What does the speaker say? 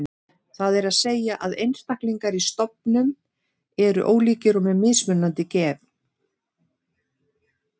Það er að segja að einstaklingar í stofnum eru ólíkir og með mismunandi gen.